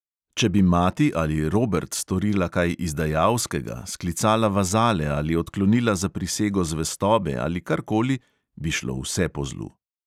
Če bi mati ali robert storila kaj izdajalskega, sklicala vazale ali odklonila zaprisego zvestobe ali karkoli, bi šlo vse po zlu.